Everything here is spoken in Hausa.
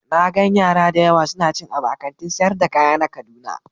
Na gan yara da yawa suna cin abu a Kantin sayar da kaya na kaduna.